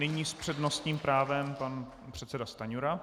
Nyní s přednostním právem pan předseda Stanjura.